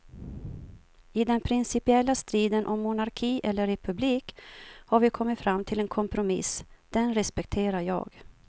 I den principiella striden om monarki eller republik har vi kommit fram till en kompromiss, den respekterar jag.